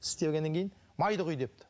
тістегеннен кейін майды құй депті